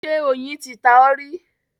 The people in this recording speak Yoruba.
Ṣé oyin ti ta ọ́ rí?